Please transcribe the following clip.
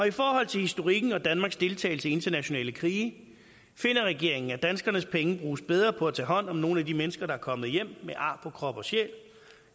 i forhold til historikken og danmarks deltagelse i internationale krige finder regeringen at danskernes penge bruges bedre på at tage hånd om nogle af de mennesker der er kommet hjem med ar på krop og sjæl